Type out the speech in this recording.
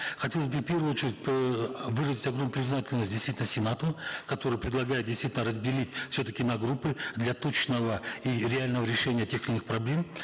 хотелось бы и в первую очередь выразить огромную признательность действительно сенату который предлегает действительно разделить все таки на группы для точного и реального решения тех или иных проблем